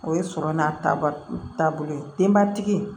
O ye sɔrɔ n'a taabolo ye denbatigi